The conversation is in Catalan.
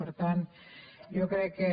per tant jo crec que